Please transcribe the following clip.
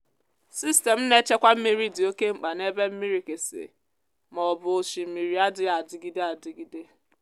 sistemụ na-echekwa mmiri dị oke mkpa n’ebe mmirikisi ma ọ bụ osimiri adịghị adịgide adịgide.